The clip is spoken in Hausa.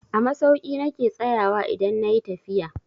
A masauki na ke tsayawa idan na yi tafiya.